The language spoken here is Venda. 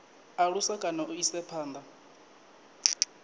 alusa kana u isa phanda